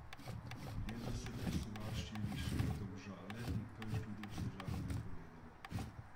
Letos se festival širi še v Domžale in prvič tudi v Sežano, je povedala.